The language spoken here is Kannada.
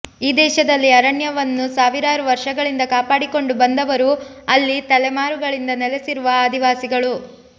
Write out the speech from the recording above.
ಈ ದೇಶದಲ್ಲಿ ಅರಣ್ಯವನ್ನು ಸಾವಿರಾರು ವರ್ಷಗಳಿಂದ ಕಾಪಾಡಿಕೊಂಡು ಬಂದವರು ಅಲ್ಲಿ ತಲೆಮಾರುಗಳಿಂದ ನೆಲೆಸಿರುವ ಆದಿವಾಸಿಗಳು